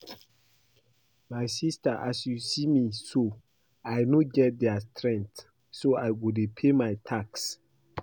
My sister as you see me so I no get their strength so I go dey pay my tax